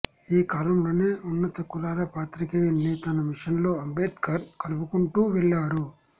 ఈ కాలంలోనే ఉన్నత కులాల పాత్రికేయుల్ని తన మిషన్లో అంబేడ్కర్ కలుపుకుంటూ వెళ్లారు